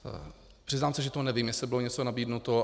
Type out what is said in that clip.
Přiznám se, že to nevím, jestli bylo něco nabídnuto.